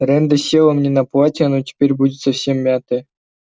рэнда села мне на платье оно теперь будет совсем мятое